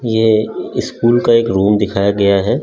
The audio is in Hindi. ये स्कूल का एक रूम दिखाया गया है।